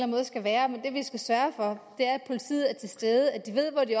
måde skal være men det vi skal sørge for er at politiet er til stede at de ved hvor de